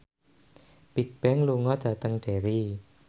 Bigbang lunga dhateng Derry